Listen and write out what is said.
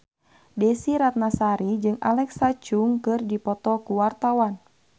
Desy Ratnasari jeung Alexa Chung keur dipoto ku wartawan